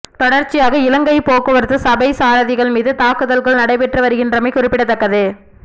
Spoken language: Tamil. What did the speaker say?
தொடர்ச்சியாக இலங்கை போக்குவரத்து சபை சாரதிகள் மீது தாக்குதல்கள் நடைபெற்று வருகின்றமை குறிப்பிடத்தக்கது